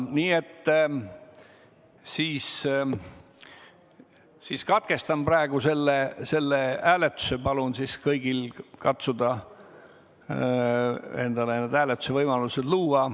Nii et ma katkestan praegu selle hääletuse ja palun kõigil katsuda endale hääletusevõimalus luua.